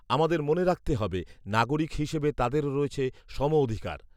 আমাদের মনে রাখতে হবে নাগরিক হিসেবে তাদেরও রয়েছে সমঅধিকার